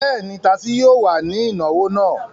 Bẹ́ẹ̀ ni, tasí yóò wà ní ìnáwó náà.